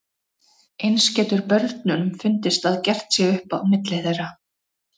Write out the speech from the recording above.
Eins getur börnunum fundist að gert sé upp á milli þeirra.